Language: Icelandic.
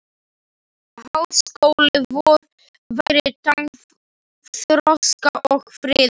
Háskóli vor væri tákn þroska og friðar.